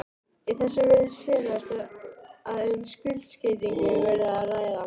Í þessu virðist felast að um skuldskeytingu verði að ræða.